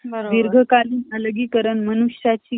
दिघाकालीन अलगीकरण मनुष्याची ,